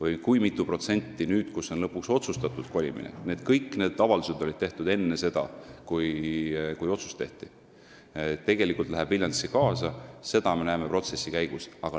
Ja seda, mitu protsenti nüüd, kui kolimine on lõpuks otsustatud – kõik need avaldused olid tehtud enne seda, kui otsus tehti –, tegelikult Viljandisse kaasa läheb, me näeme protsessi käigus.